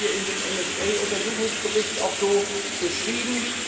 Das haben wir in dem NSA Untersuchungsbericht auch so beschrieben.